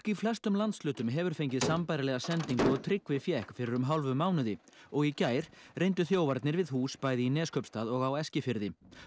í flestum landshlutum hefur fengið sambærilega sendingu og Tryggvi fékk fyrir um hálfum mánuði og í gær reyndu þjófarnir við hús bæði í Neskaupstað og á Eskifirði